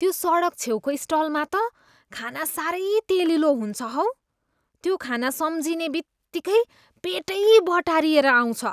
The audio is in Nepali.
त्यो सडछ छेउको स्टलमा त खाना साह्रै तेलिलो हुन्छ हौ। त्यो खाना सम्झिने बित्तिकै पेटै बटारिएर आउँछ।